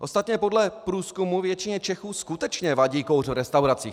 Ostatně podle průzkumu většině Čechů skutečně vadí kouř v restauracích.